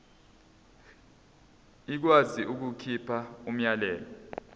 ikwazi ukukhipha umyalelo